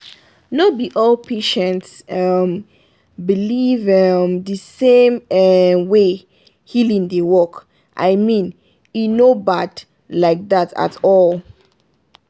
no be all patients um believe um the same um way healing dey work — and i mean e no bad like that at all.